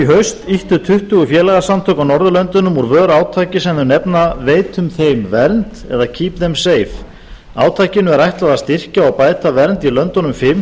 haust ýttu tuttugu félagasamtök á norðurlöndunum úr vör átaki sem þau nefna veitum þeim vernd eða keep þeim safe átakinu er ætlað að styrkja og bæta vernd í löndunum fimm